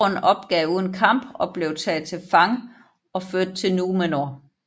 Sauron opgav uden kamp og blev taget til fange og ført til numenor